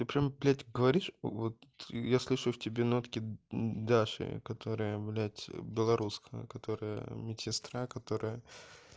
ты прямо блядь говоришь вот я слышу в тебе нотки даши которая блядь белорусская которая медсестра которая